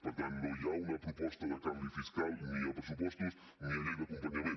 per tant no hi ha una proposta de canvi fiscal ni a pressupostos ni a llei d’acompanyament